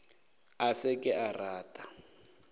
a se ke a rata